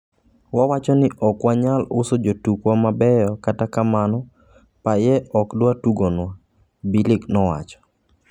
"Wawacho ni okwanyal uso jotukwa mabeyo kata kamano Payet ok dwa tugonwa"Bilic nowacho.